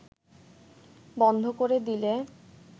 বন্ধ করে দিলে